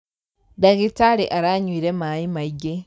Dagĩtarĩaranyuire maĩmaingĩ.